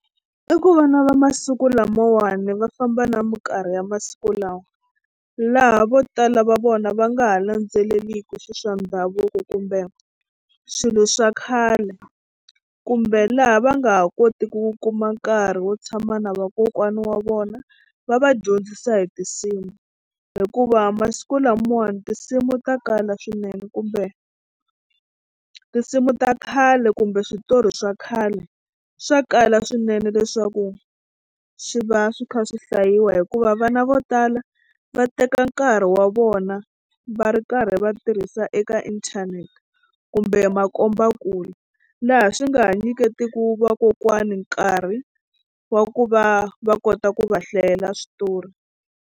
I ku vana va masiku lamawani va famba na mikarhi ya masiku lawa laha vo tala va vona va nga ha landzeleli swilo swa ndhavuko kumbe swilo swa khale kumbe laha va nga ha koti ku kuma nkarhi wo tshama na vakokwana wa vona va va dyondzisa hi tinsimu hikuva masiku lamawani tinsimu ta kala swinene kumbe tinsimu ta khale kumbe switori swa khale swa kala swinene leswaku swi va swi kha swi hlayiwa hikuva vana vo tala va teka nkarhi wa vona va ri karhi va tirhisa eka inthanete kumbe makombakule laha swi nga ha nyiketi ku vakokwani nkarhi wa ku va va kota ku va hlayela switori.